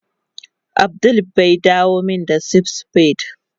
Abdul bai dawo min spad spade